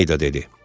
Mayda dedi.